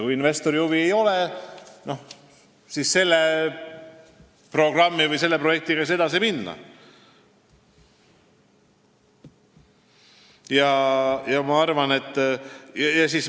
Kui investoril huvi ei ole, siis selle programmi või projektiga ei saa edasi minna.